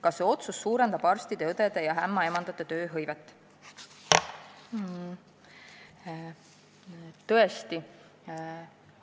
Kas see otsus suurendab arstide, õdede ja ämmaemandate tööhõivet?